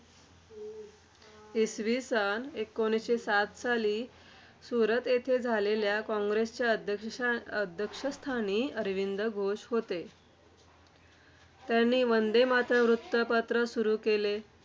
इसवी सन एकोणीसशे सात साली सुरत येथे झालेल्या काँग्रेसच्या अध्यक्ष अध्यक्षस्थानी अरविंद घोष होते. त्यांनी वंदे मातरम्‌ वृत्तपत्र सुरू केले.